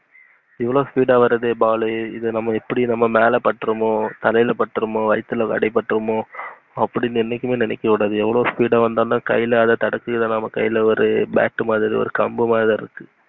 இவ்ளோ speed ஆஹ் வருது ball வு இது எப்டி நம்ம மேல பட்டுருமோ, தலைல பட்டுரோமோ, வைத்துல அடி பட்டுருமோ, அப்புடின்னு என்னைக்குமே நினைக்ககூடாது. எவ்வளோ speed ஆஹ் வந்தாலும் அத கைல அத தடுக்குற கை ல bat மாதிரி ஒரு கம்பு மாதிரி,